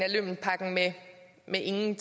viden